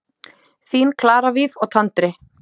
Þín Clara Víf og Tandri.